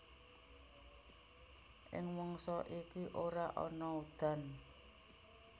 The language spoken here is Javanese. Ing mangsa iki ora ana udan